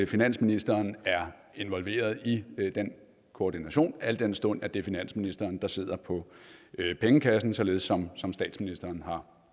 finansministeren er involveret i den koordination al den stund at det er finansministeren der sidder på pengekassen således som som statsministeren har